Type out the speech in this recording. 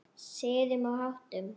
Siðum og háttum.